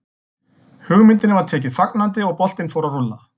Hugmyndinni var tekið fagnandi og boltinn fór að rúlla.